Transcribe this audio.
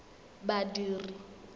badiri